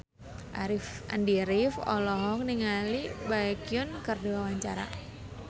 Andy rif olohok ningali Baekhyun keur diwawancara